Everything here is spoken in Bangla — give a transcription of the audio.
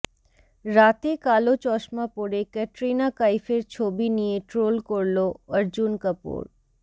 রাতে কালো চশমা পরে ক্যাটরিনা কাইফের ছবি নিয়ে ট্রোল করলো অর্জুন কাপুর